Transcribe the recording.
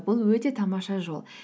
бұл өте тамаша жол